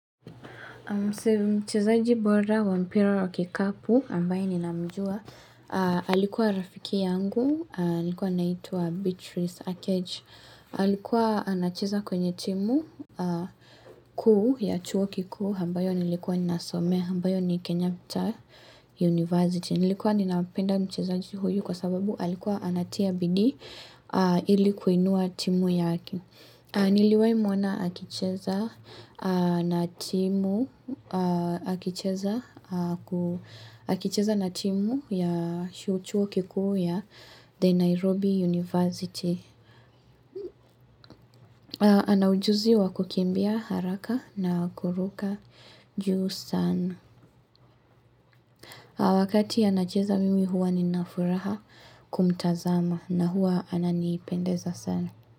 Mchezaji bora wa mpira wa kikapu, ambaye ninamjua. Alikuwa rafiki yangu, alikuwa anaitwa Beatrice Aketch. Alikuwa anacheza kwenye timu kuu ya chuo kikuu, ambayo nilikuwa ninasomea, ambayo ni Kenyatta University. Nilikuwa ninapenda mchezaji huyu kwa sababu alikuwa anatia bidi ili kuinua timu yakoi. Niliwahi mwona akicheza na timu ya chuo kikuu ya The Nairobi University. Ana ujuzi wa kukimbia haraka na kuruka juu sana. Wakati anacheza mimi huwa nina furaha. Kumtazama na huwa ananipendeza sana.